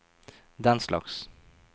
denslags